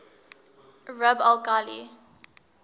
rub al khali